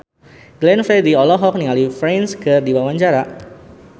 Glenn Fredly olohok ningali Prince keur diwawancara